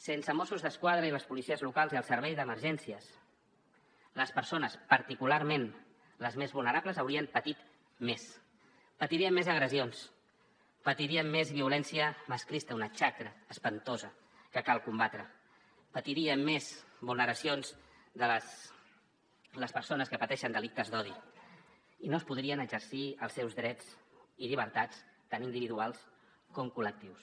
sense mossos d’esquadra i les policies locals i el servei d’emergències les persones particularment les més vulnerables haurien patit més patirien més agressions patirien més violència masclista una xacra espantosa que cal combatre patirien més vulneracions les persones que pateixen delictes d’odi i no es podrien exercir els seus drets i llibertats tant individuals com col·lectius